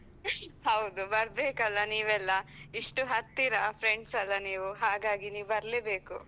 ಹೌದು ಬರ್ಬೇಕಲ್ಲಾ ನೀವೆಲ್ಲಾ. ಇಷ್ಟು ಹತ್ತಿರ friends ಅಲ್ಲ ನೀವು ಹಾಗಾಗಿ ನೀವು ಬರ್ಲೇ ಬೇಕು.